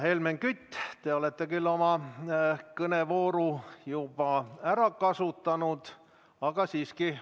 Helmen Kütt, te olete küll oma kõnevooru juba ära kasutanud, aga siiski.